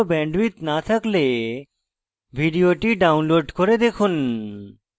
ভাল bandwidth না থাকলে ভিডিওটি download করে দেখুন